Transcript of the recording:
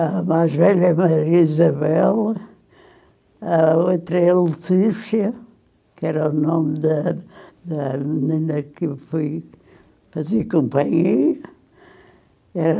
A mais velha é Maria Isabel, a outra é Letícia, que era o nome da da menina que eu fui fazer companhia. E eh